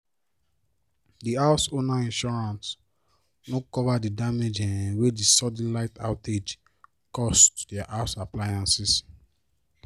di house owner insurance no cover the damage um wey the sudden light outage cause to their house appliances